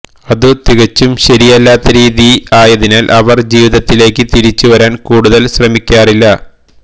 അതു തികച്ചും ശരിയല്ലാത്ത രീതി ആയതിനാൽ അവർ ജീവിതത്തിലേക്ക് തിരിച്ചു വരാൻ കൂടുതൽ ശ്രമിക്കാറില്ല